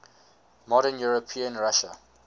modern european russia